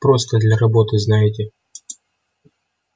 просто для работы знаете